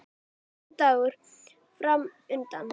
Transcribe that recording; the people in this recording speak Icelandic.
Og vinnudagur framundan.